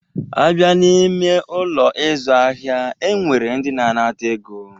A bịa n'ime Ụlọ ịzụ ahịa, e nwere ndị na-anata ego.